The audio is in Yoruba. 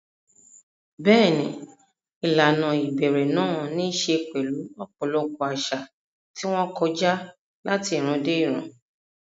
Bẹ́ẹ̀ni, ìlànà ìbẹ̀rẹ̀ náà ní í ṣe pẹ̀lú ọ̀pọ̀lọpọ̀ àṣà, tí wọ́n kọjá láti ìran dé ìran.